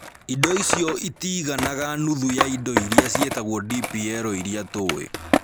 Indo icio itiiganaga nuthu ya indo iria ciĩtagwo DPL iria tũĩ.